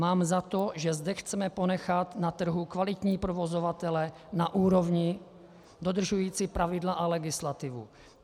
Mám za to, že zde chceme ponechat na trhu kvalitní provozovatele na úrovni dodržující pravidla a legislativu.